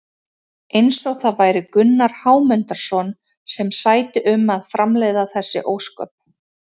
Eins og það væri Gunnar Hámundarson sem sæti um að framleiða þessi ósköp!